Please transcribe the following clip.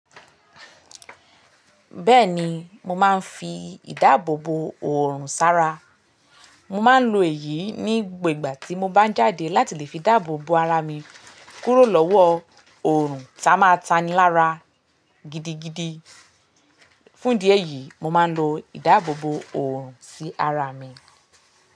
Bẹ́ẹ̀ni mo máa ń fi ìdáàbòbo òrùn sára. Mo máa ń lo èyí ní gbogbo ìgbà tí mo bá ń jáde láti lè fi dáàbòbo ara mi kúrò lọ́wọ́ òrùn ta máa tanilára gidigidi. Fún idí ẹ̀yìí, mo máa ń lo ìdáàbòbo òrùn sí ara mi.